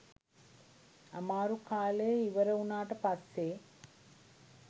අමාරු කාලේ ඉවරවුණාට පස්සේ